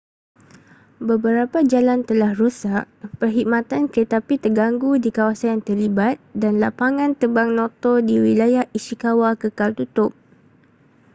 beberapa jalan telah rosak perkhidmatan keretapi terganggu di kawasan yang terlibat dan lapangan terbang noto di wilayah ishikawa kekal tutup